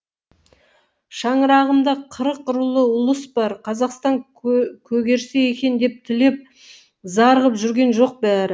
шаңырағымда қырық рулы ұлыс бар қазақстан көгерсе екен деп тілеп зар қып жүрген жоқ бәрі